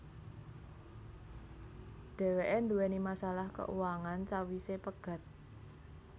Dhèwèké duwèni masalah keuangan sawisé pegat